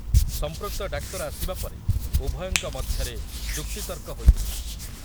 ସଂପୃକ୍ତ ଡାକ୍ତର ଆସିବା ପରେ ଉଭୟଙ୍କ ମଧ୍ୟରେ ଯୁକ୍ତିତର୍କ ହୋଇଥିଲା ।